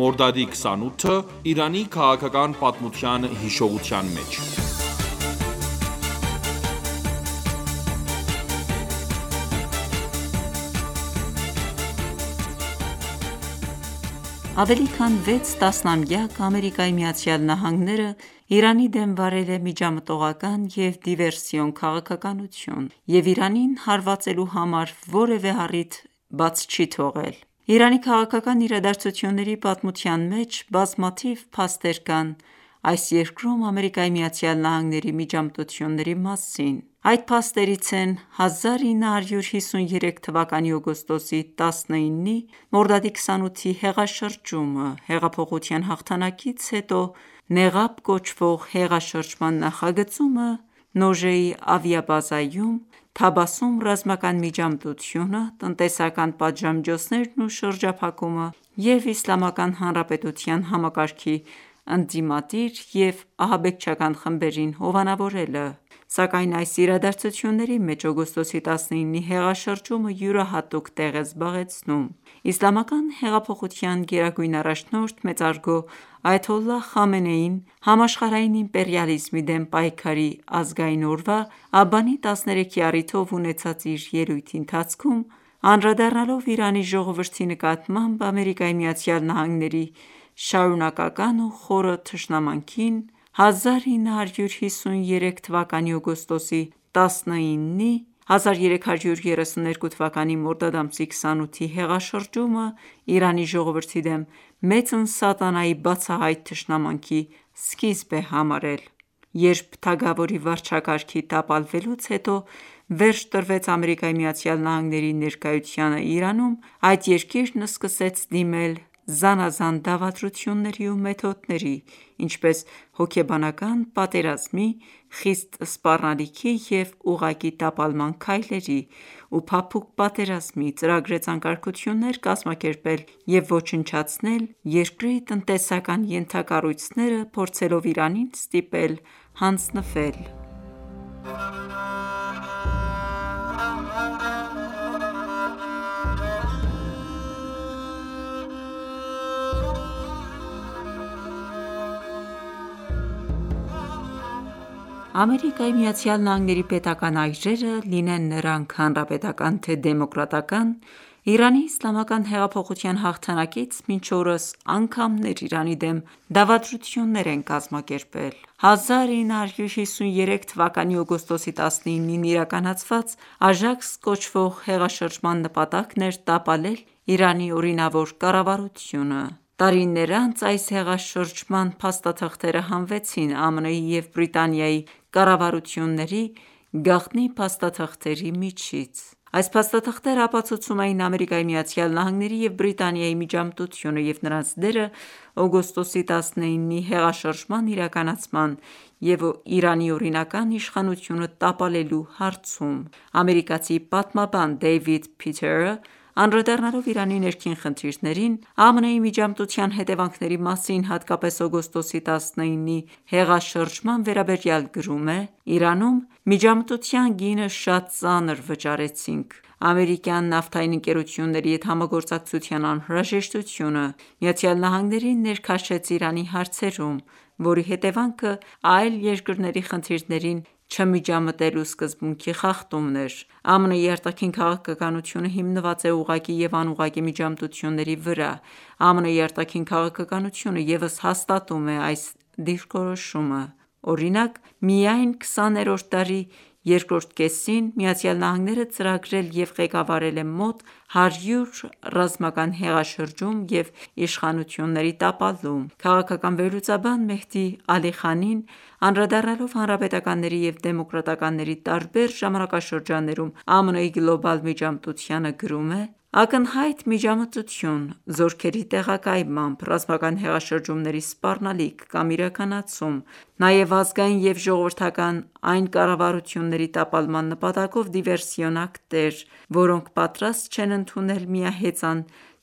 Մորդադի 28-ը՝ Իրանի քաղաքական պատմության հիշողության մեջ Ավելի քան վեց տասնամյակ, ԱՄՆ -ը, Իրանի դեմ վարել է միջամտողական և դիվերսիոն քաղաքականություն և Իրանին հարվածելու համար որևէ առիթ չի բաց չի թողել: Իրանի քաղաքական իրադարձությունների պատմության մեջ ,բազմաթիվ փաստեր կան, այս երկրում ԱՄՆ-ի միջամտությունների մասին: Այդ փաստերից են՝ 1953 թվականի օգոստոսի 19-ի(մորդադի 28-ի) հեղաշրջումը, Հեղափոխության հաղթանակից հետո Նեղաբ (Դիմակ) կոչվող հեղաշրջման նախագծումը Նոժեի ավիաբազայում, Թաբասում ռազմական միջամտությունը, տնտեսական պատժամիջոցներն ու շրջափակումը և Իսլամական Հանրապետության համակարգի ընդդիմադիր և ահաբեկչական խմբերին հովանավորելը: Սակայն այս իրադարձությունների մեջ օգոստոսի 19-ի հեղաշրջումը յուրահատուկ տեղ է զբաղեցնում: Իսլամական հեղափոխության գերագույն առաջնորդ մեծարգո այաթոլլահ Խամենեին ,համաշխարհային իմպերիալիզմի դեմ պայքարի ազգային օրվա Աբանի 13-ի առիթով ունեցած իր ելույթի ընթացքում, անդրադառնալով Իրանի ժողովրդի նկատմամբ ԱՄՆ-ի շարունակական ու խորը թշնամանքին ,1953 թ․-ի օգոստոսի 19-ի (1332 թվականի մորդադ ամսի 28-ի) հեղաշրջումը ,Իրանի ժողովրդի դեմ մեծն սատանայի բացահայտ թշնամանքի սկիզբն է համարել: Երբ թագավորի վարչակարգի տապալվելուց հետո վերջ տրվեց ԱՄՆ-ի ներկայությանն Իրանում, այդ երկիրն սկսեց դիմել զանազան դավադրությունների ու մեթոդների, ինչպես՝ հոգեբանական պատերազմի, խիստ սպառնալիքի և ուղղակի տապալման քայլերի ու փափուկ պատերազմի ,ծրագրեց անկարգություններ կազմակերպել և ոչնչացնել երկրի տնտեսական ենթակառույցները, փորձելով Իրանին ստիպել հանձնվել։ ԱՄՆ-ի պետական այրերը, լինեն նրանք՝ հանրապետական թե՝ դեմոկրատական ,Իրանի Իսլամական հեղափոխության հաղթանակից մինչ օրս անգամներ Իրանի դեմ դավադրություններ են կազմակերպել։ 1953 թվականի օգոստոսի 19-ին իրականացված «Աժաքս»կոչվող հեղաշրջման նպատակն էր՝ տապալել Իրանի օրինավոր կառավարությունը: Տարիներ անց, այս հեղաշրջման փաստաթղթերը հանվեցին ԱՄՆ-ի և Բրիտանիայի կառավարությունների գաղտնի փաստաթղթերի միջից:Այս փաստաթղթերը ապացուցում էին ,ԱՄՆ -ի և Բրիտանիայի միջամտությունը և նրանց դերը օգոստոսի 19 -ի հեղաշրջման իրականացման և Իրանի օրինական իշխանությունը տապալելու հարցում: Ամերիկացի պատմաբան Դեյվիդ Փիթերը անդրադառնալով Իրանի ներքին խնդիրներին ԱՄՆ-ի միջամտության հետևանքների մասին ,հատկապես օգոստոսի 19-ի հեղաշրջման վերաբերյալ գրում է.«Իրանում, միջամտության գինը շատ ծանր վճարեցինք:Ամերիկյան նավթային ընկերությունների հետ համագործակցության անհրաժեշտությունը ,ԱՄՆ-ին ներքաշեց Իրանի հարցերում, որի հետևանքը՝ այլ երկրների խնդիրներին չմիջամտելու սկզբունքի խախտումն էր»: ԱՄՆ-ի արտաքին քաղաքականությունը հիմնված է ուղղակի և անուղղակի միջամտությունների վրա:ԱՄՆ-ի արտաքին քաղաքականությունը ևս հաստատում է այս դիրքորոշումը:Օրինակ, միայն քսաներորդ դարի երկրորդ կեսին Միացյալ Նահանգները ծրագրել և ղեկավարել է մոտ 100 ռազմական հեղաշրջում և իշխանությունների տապալում: Քաղաքական վերլուծաբան Մեհդի Ալիխանին, անդրադառնալով ՝ հանրապետականների և դեմոկրատականների տարբեր ժամանակաշրջաններում, ԱՄՆ -ի գլոբալ միջամտությանը գրում է. «...Ակնհայտ միջամտություն ՝ զորքերի տեղակայմամբ, ռազմական հեղաշրջումների սպառնալիք կամ իրականացում ,նաև ազգային և ժողովրդական այն կառավարությունների տապալման նպատակով դիվերսիոն ակտեր, որոնք պատրաստ չեն ընդունել միահեծան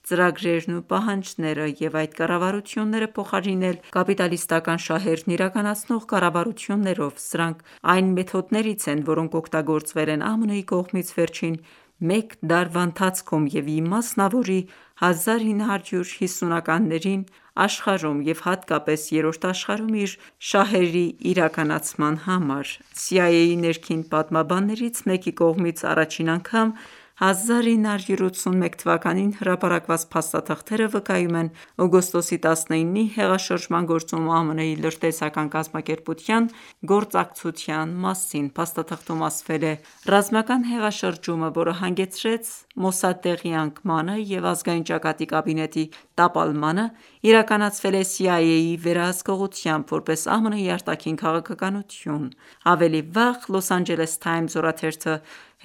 ծրագրերն ու պահանջները և այդ կառավարությունները փոխարինել կապիտալիստական շահերն իրականացնող կառավարություններով ,սրանք այն մեթոդներից են, որոնք օգտագործվել են ԱՄՆ-ի կողմից վերջին մեկ դարվա ընթացքում և ի մասնավորի՝ 1950-ականներին աշխարհում ,և հատկապես ՝երրորդ աշխարհում իր շահերի իրականացման համար»: CIA-ի ներքին պատմաբաններից մեկի կողմից առաջին անգամ ՝ 1981 թվականին հրապարակված փաստաթղթերը վկայում են օգոստոսի 19-ի հեղաշրջման գործում ԱՄՆ-ի լրտեսական կազմակերպության գործակցության մասին: Փաստաթղթում ասվել է.«Ռազմական հեղաշրջումը, որը հանգեցրեց Մոսադեղի անկմանը և Ազգային ճակատի կաբինետի տապալմանը, իրականացվել է CIA-ի վերահսկողությամբ ,որպես ԱՄՆ-ի արտաքին քաղաքականություն»: Ավելի վաղ «Լոս Անջելես Թայմզ» օրաթերթը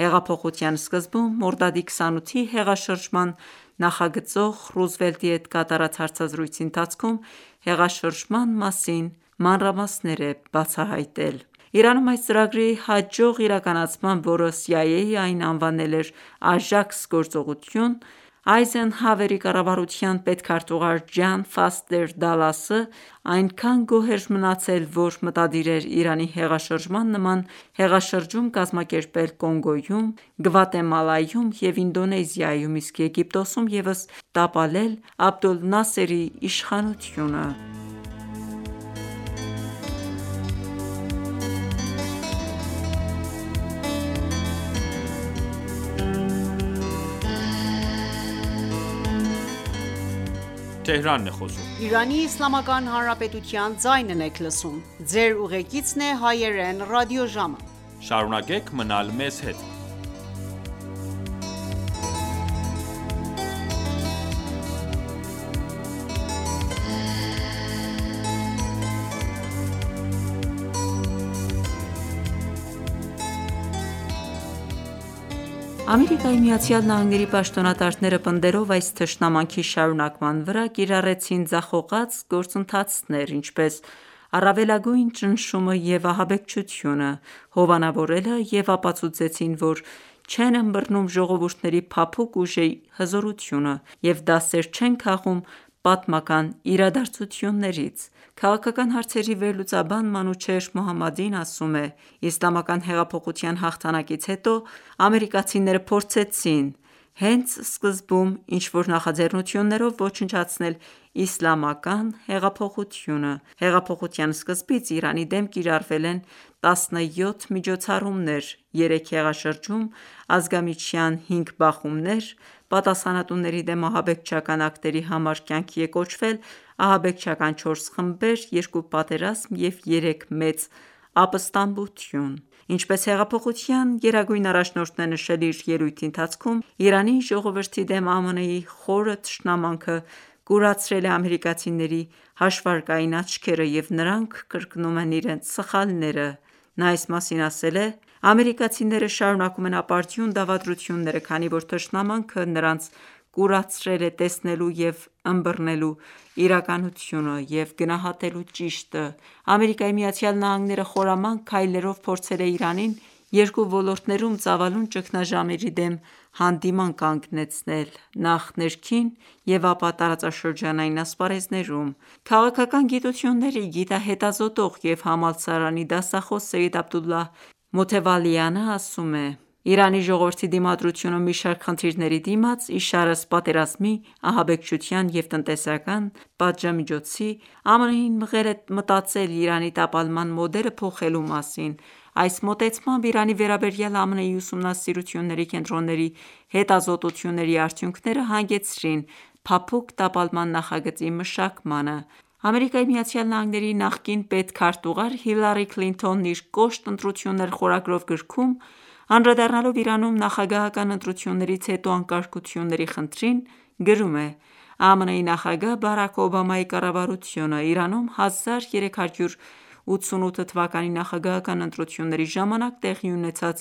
հեղափոխության սկզբում ,Մորդադի 28-ի հեղաշրջման նախագծող Ռուզվելտի հետ կատարած հարցազրույցի ընթացքում, հեղաշրջման մասին մանրամասներ էր բացահայտել: Իրանում այս ծրագրի հաջող իրականացմամբ, որը CIA-ն այն անվանել էր «Աժաքս»գործողություն ,Այզենհավերի կառավարության պետքարտուղար Ջան Ֆաստեր Դալասը ,այնքան գոհ էր մնացել, որ մտադիր էր Իրանի հեղաշրջման նման հեղաշրջում կազմակերպել Կոնգոյում, Գվատեմալայում և Ինդոնեզիայում ,իսկ Եգիպտոսում ևս տապալել Աբդոլնասերի իշխանությունը: ԱՄՆ-ի պաշտոնատարները պնդելով այս թշնամանքի վրա ,կիրառեցին ձախողած գործընթացներ, ինչպես՝ առավելագույն ճնշումը և ահաբեկչությունը հովանավորելը և ապացուցեցին ,որ չեն ըմբռնում ժողովուրդների փափուկ ուժի հզորությունը և դասեր չեն քաղում պատմական իրադարձություններից: Քաղաքական հարցերի վերլուծաբան Մանուչեհր Մոհամմադին ասում է.«Իսլամական հեղափոխության հաղթանակից հետո, ամերիկացիները փորձեցին ,հենց սկզբում ինչ որ նախաձեռնություններով ոչնչացնել Իսլամական հեղափոխությունը: Հեղափոխության սկզբից, Իրանի դեմ կիրառվել են 17 միջոցառումներ, երեք հեղաշրջում ,ազգամիջյան հինգ բախումներ, պատասխանատունների դեմ ահաբեկչական ակտերի համար կյանքի է կոչվել ահաբեկչական չորս խմբեր ,երկու պատերազմ և երեք մեծ ապստամբություն»: Ինչպես հեղափոխության գերագույն առաջնորդն է նշել իր ելույթի ընթացքում .«Իրանի ժողովրդի դեմ ԱՄՆ-ի խոր թշնամանքը կուրացրել է ամերիկացիների հաշվարկային աչքերը և նրանք կրկնում են իրենց սխալները»: Նա այս մասին ասել է. «Ամերիկացիները շարունակում են ապարդյուն դավադրությունները ,քանի որ թշնամանքը նրանց կուրացրել է տեսնելու և ըմբռնելու իրականությունը և գնահատելու ճիշտը»: ԱՄՆ-ը ,խորամանկ քայլերով փորձել է Իրանին երկու ոլորտներում ծավալուն ճգնաժամերի դեմ հանդիման կանգնեցնել ,նախ ներքին և ապա տարածաշրջանային ասպարեզներում: Քաղաքական գիտությունների գիտահետազոտող և համալսարանի դասախոս Սեյեդ Աբդոլլահ Մոթեվալյանը ասում է. «Իրանի ժողովրդի դիմադրությունը մի շարք խնդիրների դիմաց, իշարս պատերազմի, ահաբեկչության և տնտեսական պատժամիջոցի ,ԱՄՆ-ին մղել է մտածել Իրանի տապալման մոդելը փոխելու մասին:Այս մոտեցմամբ, Իրանի վերաբերյալ ԱՄՆ-ի ուսումնասիրությունների կենտրոնների հետազոտությունների արդյունքները հանգեցրին ՝փափուկ տապալման նախագծի մշակմանը»: ԱՄՆ-ի նախկին պետքարտուղար Հիլարի Քլինթոնը իր «Կոշտ ընտրություններ» խորագրով գրքում, անդրադառնալով Իրանում, նախագահական ընտրություններից հետո անկարգությունների խնդրին, գրում է.«ԱՄՆ-ի նախագահ Բարաք Օբամայի կառավարությունը ,Իրանում 1388 թվականի նախագահական ընտրությունների ժամանակ տեղի ունեցած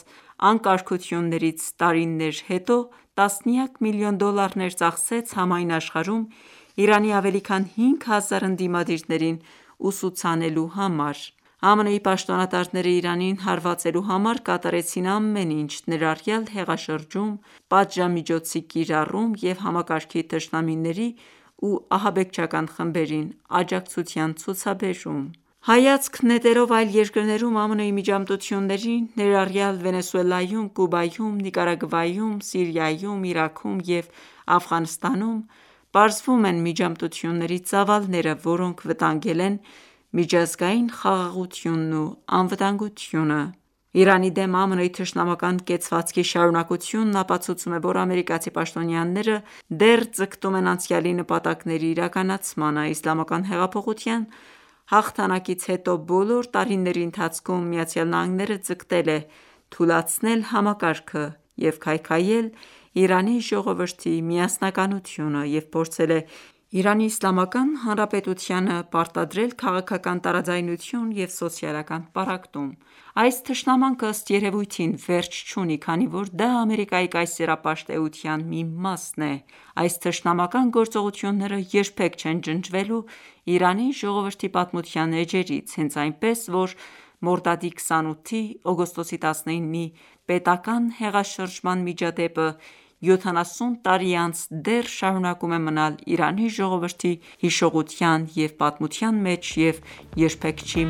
անկարգություններից տարիներ հետո ,տասնյակ միլիոն դոլարներ ծախսեց ,համայն աշխարհում Իրանի ավելի քան 5000 ընդիմադիրներին ուսուցանելու համար»: ԱՄՆ-ի պաշտոնատարները ,Իրանին հարվածելու համար կատարեցին ամեն ինչ, ներառյալ հեղաշրջում, պատժամիջոցի կիրառում և համակարգի թշնամիներին ու ահաբեկչական խմբերին աջակցության ցուցաբերում։ Հայացք նետելով այլ երկրներում ԱՄՆ-ի միջամտություններին, ներառյալ Վենեսուելայում, Կուբայում, Նիկարագուայում, Սիրիայում, Իրաքում և Աֆղանստանում, պարզվում են միջամտությունների ծավալները, որոնք վտանգել են միջազգային խաղաղությունն ու անվտանգությունը: Իրանի դեմ ԱՄՆ -ի թշնամական կեցվածքի շարունակությունը ապացուցում է, որ ամերիկացի պաշտոնյաները դեռ ձգտում են անցյալի նպատակների իրականացմանը:Իսլամական հեղափոխության հաղթանակից հետո բոլոր տարիների ընթացքում, ԱՄՆ-ը ձգտել է թուլացնել համակարգը և քայքայել Իրանի ժողովրդի միասնականությունը,և փորձել է Իրանի Իսլամական Հանրապետությանը ներքուստ պարտադրել քաղաքական տարաձայնություն և սոցիալական պառակտում: Այս թշնամանքը, ըստ երևույթին, վերջ չունի, քանի որ դա Ամերիկայի կայսերապաշտ էության մի մասն է: Այս թշնամական գործողությունները երբեք չեն ջնջվելու Իրանի ժողովրդի պատմության էջերից, հենց այնպես ,որ Մորդադի 28-ի(օգոստոսի 19-ի) պետական հեղաշրջման միջադեպը, 70 տարի անց, դեռ շարունակում է մնալ Իրանի ժողովրդի հիշողության և պատմության մեջ և երբեք չի